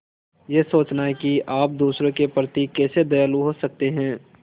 यह सोचना कि आप दूसरों के प्रति कैसे दयालु हो सकते हैं